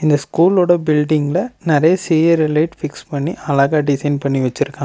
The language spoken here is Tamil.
இந்த ஸ்கூல் ஒட பில்டிங்ல நெறைய சிரியல் லைட் பிக்ஸ் பண்ணி அழகா டிசைன் பண்ணி வெச்சுருக்கா.